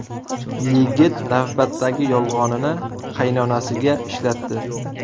Yigit navbatdagi yolg‘onini qaynonasiga ishlatdi.